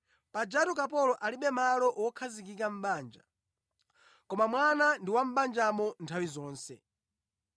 Pajatu kapolo alibe malo wokhazikika mʼbanja, koma mwana ndi wa mʼbanjamo nthawi zonse.